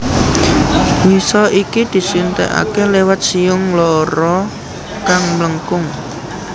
Wisa iki disuntikake liwat siung loro kang mlengkung